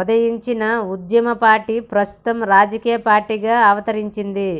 ఉదయించిన ఉద్యమపార్టీ ప్రస్తుతం రాజకీయ పార్టీగా అవతరించింది